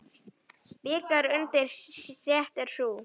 Bikar undir stétt er sú.